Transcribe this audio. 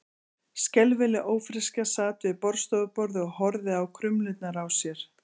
Skelfileg ófreskja sat við borðstofuborðið og horfði á krumlurnar á sér.